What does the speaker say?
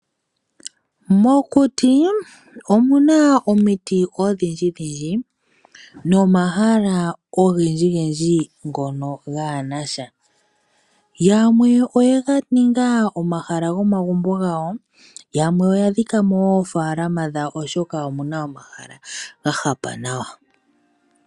Mokuti, omuna omiti odhindjidhindji, nomo mahala ogendji gendji, ngono gaanasha. Yamwe oye ga ninga omahala gomagumbo gawo, yamwe oya dhikamo oofalama dhawo oshoka omuna omahala ga hapa nawa.